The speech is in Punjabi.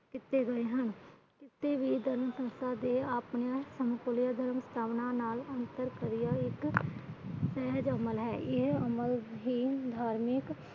ਕੀਤੇ ਗਏ ਹਨ। ਕਿਸੇ ਵੀ ਧਰਮ ਸੰਸਥਾ ਦੇ